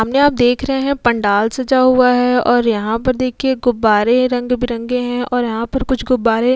सामने आप देख रहे हैं पंडाल सजा हुआ है और यहां पर देखिए गुब्बारे रंग बिरंगे हैं और यहां पर कुछ गुब्बारे --